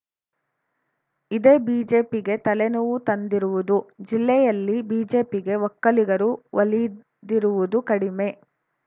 ಇದೇ ಬಿಜೆಪಿಗೆ ತಲೆ ನೋವು ತಂದಿರುವುದು ಜಿಲ್ಲೆಯಲ್ಲಿ ಬಿಜೆಪಿಗೆ ಒಕ್ಕಲಿಗರು ಒಲಿದಿರುವುದು ಕಡಿಮೆ